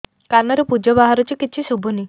କାନରୁ ପୂଜ ବାହାରୁଛି କିଛି ଶୁଭୁନି